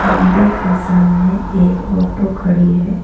मंदिर के सामने एक ऑटो खड़ी है।